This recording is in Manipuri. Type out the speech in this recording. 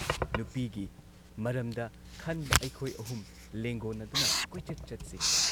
ꯅꯨꯄꯤꯒꯤ ꯃꯔꯝꯗ ꯈꯟꯕ ꯑꯩꯈꯣꯏ ꯑꯍꯨꯝ ꯂꯦꯡꯒꯣꯟꯅꯗꯨꯅ ꯀꯣꯏꯆꯠ ꯆꯠꯁꯤ ꯫